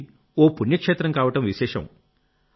అది ఓ పుణ్య క్షేత్రం కావడం విశేషం